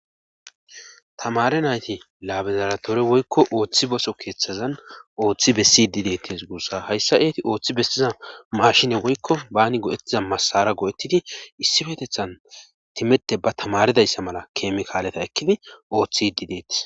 Tamare nayti laabezaratore woykko ooththi boso keeththazan ooththi bessi dideetis guussa hayssa eeti ooththi bessiza mashine woykko baani godettiza masara go7ettidi issi fetethan timette ba tamaridayssa mala keemikaaleta ekkidi ooththi dideetis